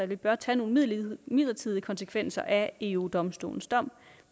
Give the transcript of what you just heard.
vi bør tage nogle midlertidige konsekvenser af eu domstolens dom